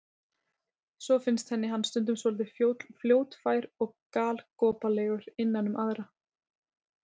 Svo finnst henni hann stundum svolítið fljótfær og galgopalegur innan um aðra.